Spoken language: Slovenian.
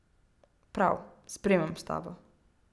Prav, sprejmem stavo.